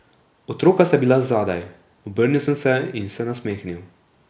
Otroka sta bila zadaj, obrnil sem se in se nasmehnil.